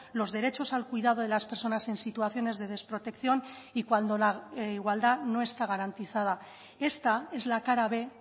los derechos al cuidado de las personas en situaciones de desprotección y cuando la igualdad no está garantizada esta es la cara b